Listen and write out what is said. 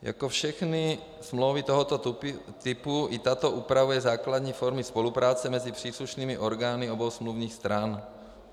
Jako všechny smlouvy tohoto typu i tato upravuje základní formy spolupráce mezi příslušnými orgány obou smluvních stran.